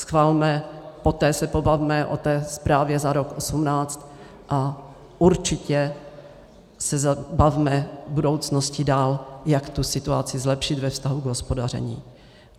Schvalme, poté se pobavme o té zprávě za rok 2018 a určitě se bavme k budoucnosti dál, jak tu situaci zlepšit ve vztahu k hospodaření.